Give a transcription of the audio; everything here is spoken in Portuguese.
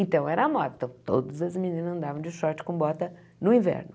Então, era a moda, então todas as meninas andavam de short com bota no inverno.